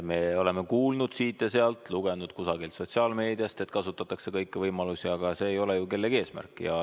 Me oleme kuulnud siit ja sealt, lugenud kusagilt sotsiaalmeediast, et kasutatakse kõiki võimalusi, aga see ei ole ju kellegi eesmärk.